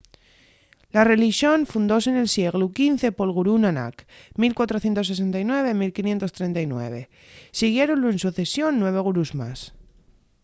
la relixón fundóse nel sieglu xv pol gurú nanak 1469-1539. siguiéronlu en socesión nueve gurús más